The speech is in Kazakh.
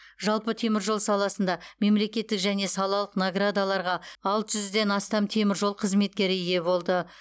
жалпы теміржол саласында мемлекеттік және салалық наградаларға алты жүзден астам теміржол қызметкері ие болды